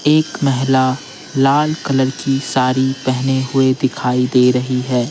एक महिला लाल कलर की साड़ी पहने हुए दिखाई दे रही है।